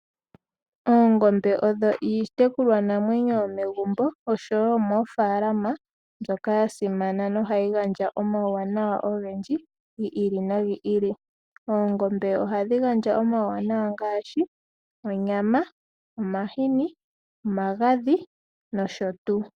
Oongombe odho iitekulwanamwenyo yomegumbo oshowo yomoofalama mbyoka ya simana, nohayi gandja omauwanawa ogendji gi ili nogi ili. Oongombe ohadhi gandja omauwanawa ngaashi onyama, omahini, omagadhi nosho tuu.